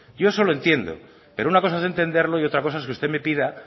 yo eso lo entiendo pero una cosa es entenderlo y otra cosa es que usted me pida